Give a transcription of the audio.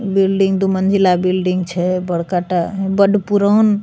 building दु मंजिला building छै बड़का टा बड़ पुरान --